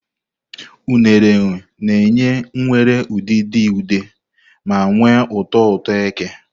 Unere na-enye nwere udidi ude ma nwee ụtọ ụtọ eke.